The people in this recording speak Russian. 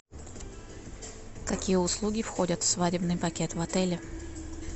какие услуги входят в свадебный пакет в отеле